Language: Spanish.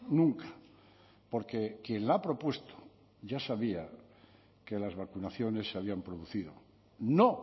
nunca porque quien la ha propuesto ya sabía que las vacunaciones se habían producido no